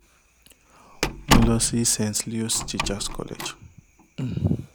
mo lọ sí st leos teachers college um